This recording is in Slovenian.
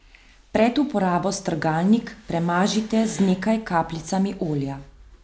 Pred uporabo strgalnik premažite z nekaj kapljicami olja.